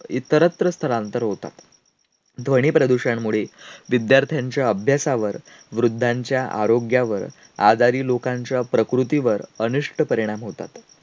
इतरत्र स्थलांतर होतात. ध्वनीप्रदूषणमुळे विद्यार्थ्यांच्या अभ्यासावर, वृद्धांच्या आरोग्यावर, आजारी लोकांच्या प्रकृतीवर अनिष्ट परिणाम होतात.